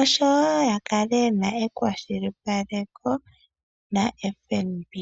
osho wo ya kale ye na ekwashilipaleko naFNB.